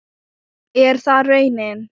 Er það raunin?